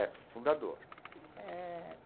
É, fundador. Eh.